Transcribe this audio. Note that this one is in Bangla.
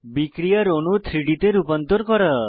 বিক্রিয়ার অণু 3ডি তে রূপান্তর করা